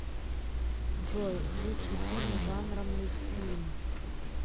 джой лучший фильм жанра мультфильм